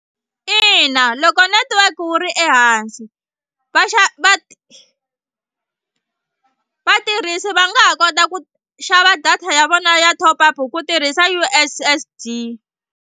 Ina loko network wu ri ehansi va va vatirhisi va nga ha kota ku xava data ya vona ya top up ku tirhisa U_S_S_D.